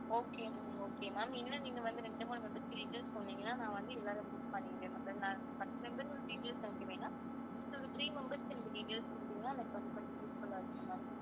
okay ma'am okay ma'am இன்னும் நீங்க வந்து ரெண்டு மூணு members வந்து details சொன்னிங்கன்னா நான் வந்து எல்லாரும் book பண்ணிடுவேன் பத்து members ஓட details எனக்கு வேணாம் ஒரு three members க்கு இந்த details கொடுத்தீங்கன்னா எனக்கு கொஞ்சம் useful ஆ இருக்கும் ma'am